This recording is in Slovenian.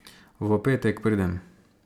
V petek pridem.